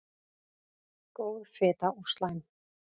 Góð fita og slæm